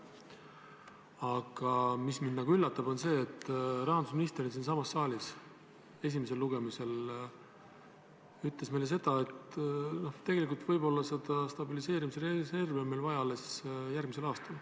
Aga mind üllatab see, et rahandusminister siinsamas saalis ütles esimesel lugemisel meile seda, et tegelikult võib stabiliseerimisreservi olla meil vaja alles järgmisel aastal.